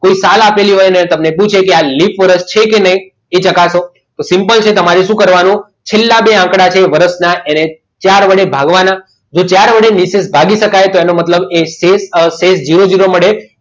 કોઈ સાલા લીલી હોય અને તમને પૂછે છે કે આ લીપ વરસ છે કે નહીં તે ચકાસો તો simple રીતે તમારે શું કરવાનું છેલ્લા બે આંકડાની વર્ષના ચાર વડે ભાગવાના તો ચાર વડે નિશેષ ભાગી શકાય તો એનો મતલબ શેષ ઝીરો ઝીરો વડે